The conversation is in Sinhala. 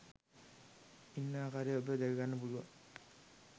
ඉන්න ආකාරය ඔබට දැක ගන්න පුළුවන්